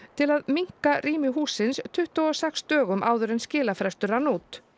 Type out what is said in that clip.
til að minnka rými hússins tuttugu og sex dögum áður en skilafrestur rann út